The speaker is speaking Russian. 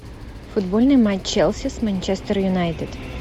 футбольный матч челси с манчестер юнайтед